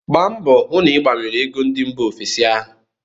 Gba mbọọ hụ na ị gbanwere ego ndị mba ofesi ahu!